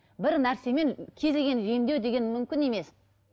бір нәрсемен кез келген емдеу деген мүмкін емс